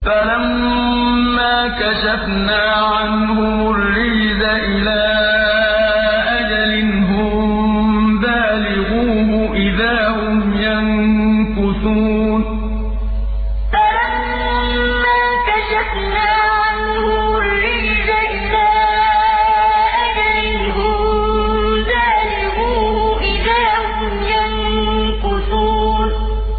فَلَمَّا كَشَفْنَا عَنْهُمُ الرِّجْزَ إِلَىٰ أَجَلٍ هُم بَالِغُوهُ إِذَا هُمْ يَنكُثُونَ فَلَمَّا كَشَفْنَا عَنْهُمُ الرِّجْزَ إِلَىٰ أَجَلٍ هُم بَالِغُوهُ إِذَا هُمْ يَنكُثُونَ